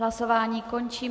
Hlasování končím.